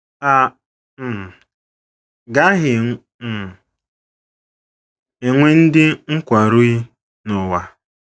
A um gaghị um enwe ndị nkwarụi, n’ụwa.